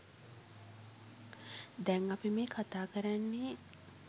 දැන් අපි මේ කතා කරන්නෙ